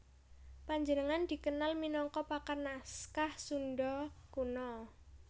Panjenengane dikenal minangka pakar naskah Sunda Kuno